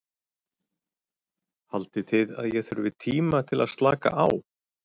Haldið þið að ég þurfi tíma til að slaka á?